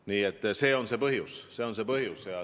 Nii et see on see põhjus.